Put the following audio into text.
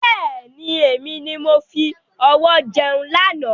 Bẹ́ẹ̀ni, èmi ni mo fi ọwọ jẹun lànà.